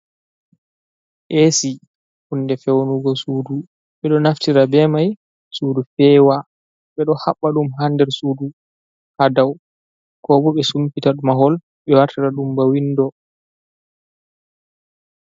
Esi kunde fewnugo sudu bedo naftira be mai sudu fewa bedo haɓba dum hander sudu ha daw ko boɓe sumpita mahol be wartara dumba windo